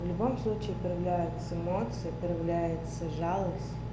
в любом случае проявляется эмоции появляется жалость